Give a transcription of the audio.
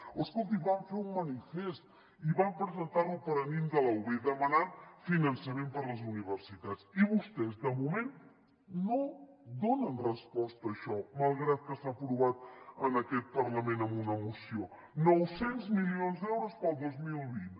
oh escolti van fer un manifest i van presentar lo al paranimf de la ub demanant finançament per a les universitats i vostès de moment no donen resposta a això malgrat que s’ha aprovat en aquest parlament en una moció nou cents milions d’euros per al dos mil vint